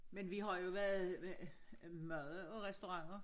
Men vi har jo været ved mad og restaurenter